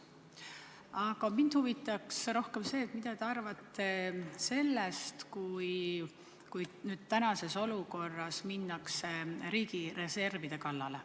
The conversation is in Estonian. Aga mind huvitab rohkem see, mida te arvate sellest, kui tänases olukorras minnakse riigi reservide kallale.